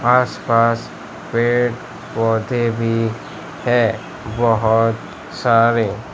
आसपास पेड़ पौधे भी है बहुत सारे।